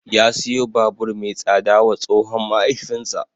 Ya siyo babur mai tsada wa tsohon mahaifinsa.